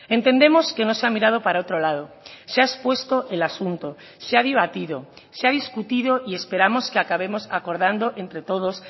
entendemos que no se ha mirado para otro lado se ha expuesto el asunto se ha debatido se ha discutido y esperamos que acabemos acordando entre todos